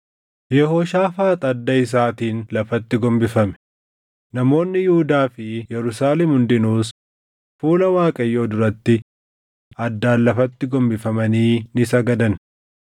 Yehooshaafaax adda isaatiin lafatti gombifame; namoonni Yihuudaa fi Yerusaalem hundinuus fuula Waaqayyoo duratti addaan lafatti gombifamanii ni sagadan.